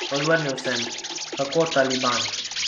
Odvrnil sem: "Kako taliban?